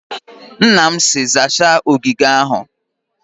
Nna m si, zaacha ogige ahụ!